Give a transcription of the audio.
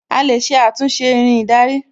A lè ṣe àtúnṣe Irin ìdarí